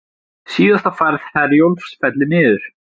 Síðasta ferð Herjólfs fellur niður